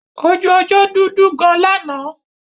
Ojú ọjọ́ dudu gan lánàá.